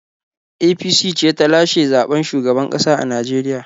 APC ce ta lashe zaɓen shugaban ƙasa a Najeriya.